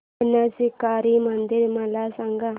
बाणशंकरी मंदिर मला सांग